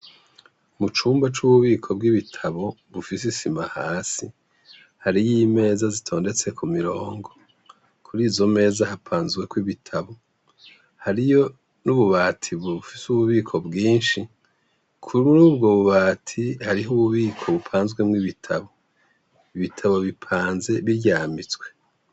Mu cumba c'ububiko bw'ibitabu bufise isima hasi, hariyo imeza zitondetse ku mirongo. Kuri izo meza hapanzweko ibitabu. Hariyo n'ububati bufise ububiko bwinshi, kuri ubwo bubati hariho ububiko bupanzwemwo ibitabu. Ibitabu bipanze biryamitswe.